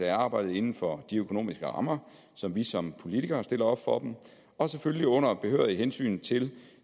af arbejdet inden for de økonomiske rammer som vi som politikere stiller op for dem og selvfølgelig under behørige hensyn til